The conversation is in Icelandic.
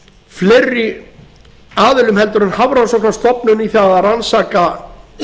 fleiri aðilum en hafrannsóknastofnun í það að rannsaka